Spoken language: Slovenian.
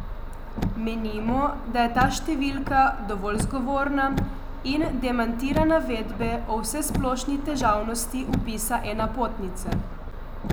Menimo, da je ta številka dovolj zgovorna in demantira navedbe o vsesplošni težavnosti vpisa eNapotnice.